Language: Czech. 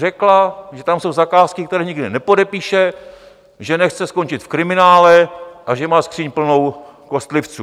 Řekla, že tam jsou zakázky, které nikdy nepodepíše, že nechce skončit v kriminále a že má skříň plnou kostlivců.